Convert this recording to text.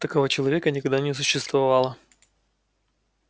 такого человека никогда не существовало